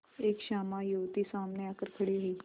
एक श्यामा युवती सामने आकर खड़ी हुई